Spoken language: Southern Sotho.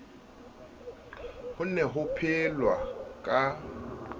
ho ne ho phelwa ka